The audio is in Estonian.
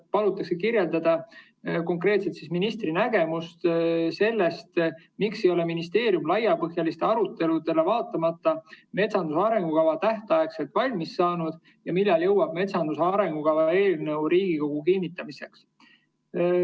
Palutakse kirjeldada konkreetselt ministri nägemust sellest, miks ei ole ministeerium laiapõhjalistele aruteludele vaatamata metsanduse arengukava tähtaegselt valmis saanud ja millal jõuab metsanduse arengukava eelnõu Riigikogusse kinnitamiseks.